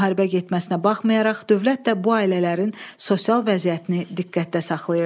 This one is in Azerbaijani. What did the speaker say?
Müharibə getməsinə baxmayaraq, dövlət də bu ailələrin sosial vəziyyətini diqqətdə saxlayırdı.